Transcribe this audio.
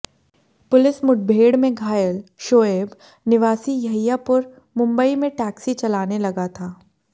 police मुठभेड़ में घायल शोएब निवासी यहियापुर मुंबई में टैक्सी चलाने लगा था